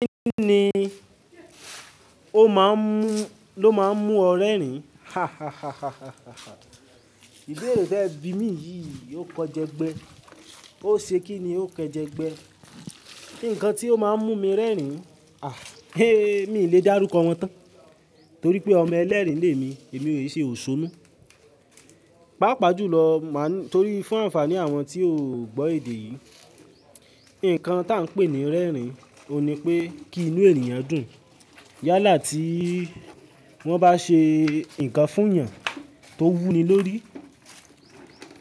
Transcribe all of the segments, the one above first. Kí ni ó má ń mú, ló má ń mú ọ rẹ́rìn? Ìbéèrè tẹ́ẹ̀ bí mi yìí ó kọ jẹ́gbẹ́. Ó ṣe kí ni ó kẹjẹ̀gbẹ́. Nǹkan tí ó má ń mú mi rẹ́rìn, à, ee mi ò le dárúkọ wọn tán torí pé ọmọ ẹlẹ́rìn ní èmi, èmi ò ṣe òṣónú. Páa pàjúlọ, má ń-- torí fún àǹfààní àwọn tí ò gbọ́ èdè yìí. Nǹkan tá ń pè ní rẹ́rìn, òun ni pé kí inú ènìyàn dùn. Yálà tí wọ́n bá ṣe nǹkan fún ènìyàn tó wú ni lórí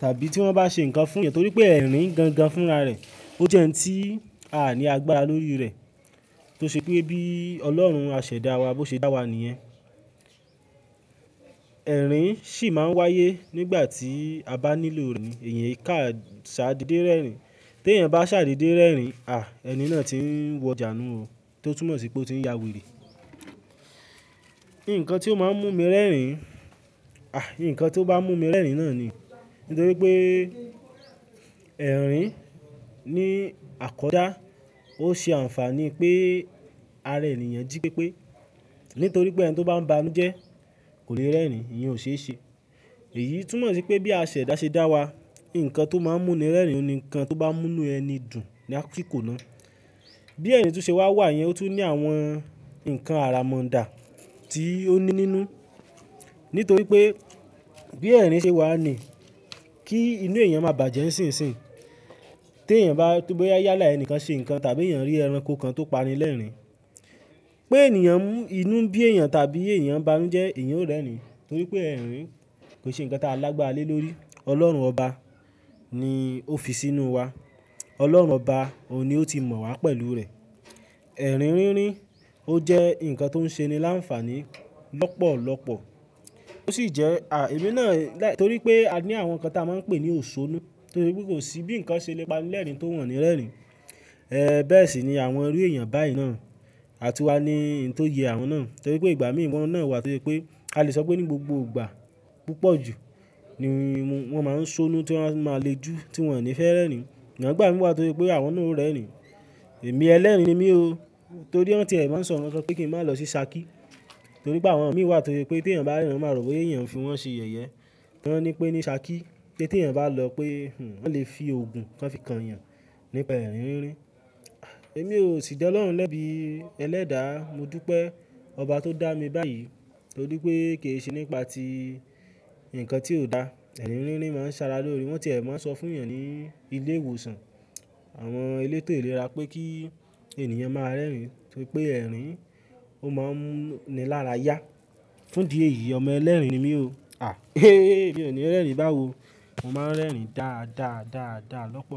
tàbí tí wọ́n bá ṣe nǹkan fún ènìyàn torí pé ẹ̀rín gan gan fúnra rẹ̀, ó jẹ́ ẹni tí a à ní agbára lórí rẹ̀. Tó ṣe pé bí Ọlọ́run á ṣẹ̀ dá wa, bó ṣe dá wa nìyẹn. Ẹ̀rín sì má ń wáyé nígbà tí a bá nílò rẹ̀. Ẹ̀yàn ká ṣàdede rẹ́rìn. Tí ènìyàn bá ṣàdede rẹ́rìn, à, ẹni náà ti ń wọjà nun-un o tó túmọ̀ sí pé ó ti ń ya wèrè. Nǹkan tí ó má ń mú mi rẹ́rìn, à, nǹkan tí ó bá mú mi rẹ́rìn náà ni nítorí pé ẹ̀rín ní àkọjá, ó ṣe àǹfààní pé ara ènìyàn jí pépé. Nítorí pé ẹni tó bá ń ba lójẹ́ kò lè rẹ́rìn, ìyẹn ò ṣe é ṣe. Èyí túmọ̀ sí pé bí a ṣẹ̀ dá ṣe dá wa, nǹkan tó má ń mú ni rẹ́rìn ni nǹkan tó bá ń mú inú ẹni dùn ni asikò ná. Bí ẹ̀rín tó ṣe wà wà yẹn ó tún ní àwọn nǹkan àrà móǹdà tí ó ní nínú. Nítorí pé bí ẹ̀rín ṣe wà ní, kí inú èèyàn má bàjẹ́ n ṣinṣìn. Tí ènìyàn bá-- bóyá yálà ẹni kan ṣe nǹkan tàbí ènìyàn rí ẹranko kan tó pani lẹ́rìn-ín, pé ènìyàn mú-- inú bí èèyàn tàbí èèyàn banuje, èèyàn ó rẹ́rìn nítorí pé ẹ̀rín kò ṣe nǹkan tí a lágbára lé lórí. Ọlọ́run Ọba ni ó fi sínú wa. Ọlọ́run Ọba, òun ni ó ti mọ̀ wá pẹ̀lú rẹ̀. Ẹ̀rín rínrín, ó jẹ́ nǹkan tó ń ṣe ni láǹfààní lọ́pọ̀lọ́pọ̀. Ó sì jẹ́, à, èmi náà láì-- torí pé a ní àwọn nǹkan tí a má ń pè ní òṣónú. Torí pé kò sí bí nǹkan ṣe lè pa ni lẹ́rìn tí ó wọ̀n ni rẹ́rìn. Ẹ, bẹ́ẹ̀ sì ni àwọnrú èèyàn báyìí náà. Àtùwá ni nǹkan tó yẹ àwọn náà torí pé ìgbà mí ìwọ̀n náà wà tose pé a lè sọ pé ní gbogbo ìgbà púpọ̀jù ni wọ́n má ń ṣónú tí wọ́n má le jù tí wọ́n ò ní fẹ́ rẹ́rìn. Sugbon igbà mí wá tose pé àwọn náà ó rẹ́rìn. Èmi ẹlẹ́rìn ni mí o torí wọ́n tí ẹ má ń sọ nkankan pé kí n má lọ sí sàákí torí pé àwọn mí wá to se pé tí èèyàn bá rériin, wọn máa rò boya èèyàn fi wọn ṣe ìyẹ́yẹ́. Wọ́n ní pé ní sàákí pé tí èèyàn bá lọ pé, "Hmm, wọ́n lè fi ògùn kán fi kan èèyàn nípa ẹ̀rín rínrín." À, èmi ò sì da Ọlọ́run lẹ́bí ẹlẹ́dàá. Mo dú pé ọba tó dá mi báyìí torí pé kì í ṣe nípa tí nǹkan tí ò da. Ẹ̀rín rínrín má ń sára lórí wọn. Wọ́n tí ẹ má ń sọ fún èèyàn ní ilé ìwòsàn, àwọn elétò ìlera pé kí ènìyàn má a rẹ́rìn torí pé ẹ̀rín ó má ń mú ni lára yá. Fún di èyí, ọmọ ẹlẹ́rìn ni mí o. À, èmi ò ní rẹ́rìn báwo. Mo má ń rẹ́rìn dáadáa, dáadáa lọ́pọ̀.